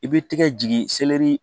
I b'i tɛgɛ jigi